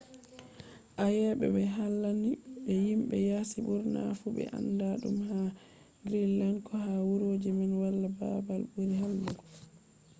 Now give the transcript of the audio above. ayebe be hallande ni himbe yaasi burna fu be anda dum ha greenland. ko ha wuroji man wala babal buri hallugo.